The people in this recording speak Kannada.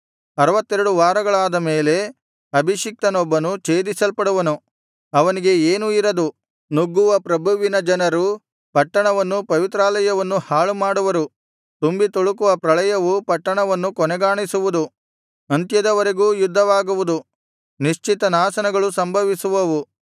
ಅರುವತ್ತೆರಡು ವಾರಗಳಾದ ಮೇಲೆ ಅಭಿಷಿಕ್ತನೊಬ್ಬನು ಛೇದಿಸಲ್ಪಡುವನು ಅವನಿಗೆ ಏನೂ ಇರದು ನುಗ್ಗುವ ಪ್ರಭುವಿನ ಜನರು ಪಟ್ಟಣವನ್ನೂ ಪವಿತ್ರಾಲಯವನ್ನೂ ಹಾಳು ಮಾಡುವರು ತುಂಬಿ ತುಳುಕುವ ಪ್ರಳಯವು ಪಟ್ಟಣವನ್ನು ಕೊನೆಗಾಣಿಸುವುದು ಅಂತ್ಯದವರೆಗೂ ಯುದ್ಧವಾಗುವುದು ನಿಶ್ಚಿತ ನಾಶನಗಳು ಸಂಭವಿಸುವವು